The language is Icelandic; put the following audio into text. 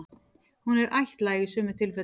Hún er ættlæg í sumum tilfellum.